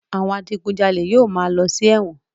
Àwọn adigunjalè yóò máa lọ sí ẹ̀wọ̀n.